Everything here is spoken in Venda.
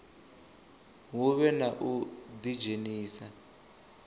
hu vhe na u ḓidzhenisa